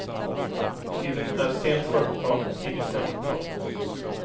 Tiden är sent fyrtiotal och tidigt femtiotal.